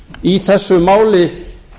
í þessu máli